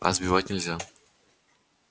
а сбивать нельзя